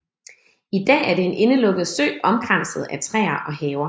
I dag er det en indelukket sø omkranset af træer og haver